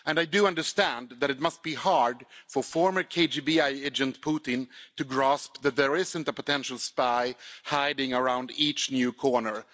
And I do understand that it must be hard for former KGB agent Putin to grasp that there isn't a potential spy hiding around each new corner.